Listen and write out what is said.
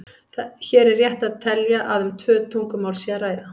Hér er rétt að telja að um tvö tungumál sé að ræða.